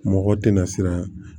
Mɔgɔ tɛna siran